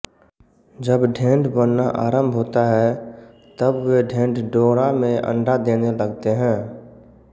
जब ढेंढ़ बनना आरंभ होता है तब वे ढेंढ़ डोंड़ा में अंडे देने लगते हैं